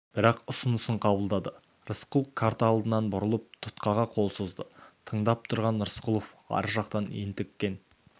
бірақ ұсынысын қабылдады рысқұлов карта алдынан бұрылып тұтқаға қол созды тыңдап тұрған рысқұлов ар жақтан ентіккен